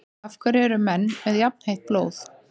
Af hverju eru menn með jafnheitt blóð?